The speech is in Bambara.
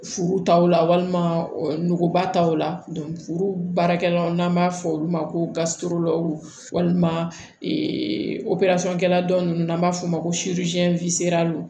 Furu taw la walima nuguba taw furu baarakɛlaw n'an b'a fɔ olu ma ko gasiworo walima operesɔn kɛla dɔ ninnu n'an b'a f'o ma ko